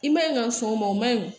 I man ɲi ka sɔn o ma o ma ɲi